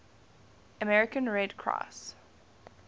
american red cross